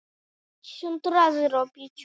Skjálftar á jarðhitasvæðum